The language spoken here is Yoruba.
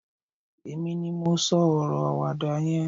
èmi ni mo so oro awada yen